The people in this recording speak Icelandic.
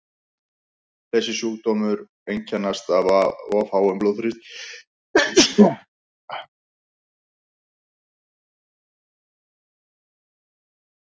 þessir sjúkdómar einkennast af of háum þrýstingi inni í auganu